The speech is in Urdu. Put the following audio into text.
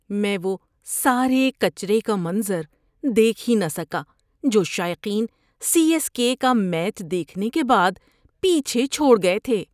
میں وہ سارے کچرے کا منظر دیکھ ہی نہ سکا جو شائقین سی ایس کے کا میچ دیکھنے کے بعد پیچھے چھوڑ گئے تھے۔